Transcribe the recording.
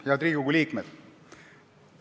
Head Riigikogu liikmed!